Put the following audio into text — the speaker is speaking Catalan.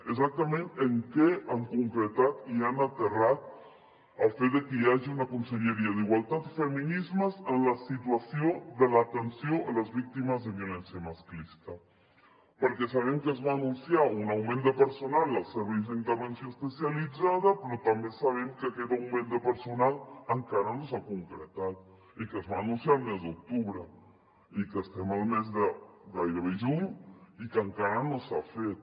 exactament en què han concretat i han aterrat el fet de que hi hagi una conselleria d’igualtat i feminismes en la situació de l’atenció a les víctimes de violència masclista perquè sabem que es va anunciar un augment de personal als serveis d’intervenció especialitzada però també sabem que aquest augment de personal encara no s’ha concretat i que es va anunciar el mes d’octubre i estem al mes de gairebé juny i encara no s’ha fet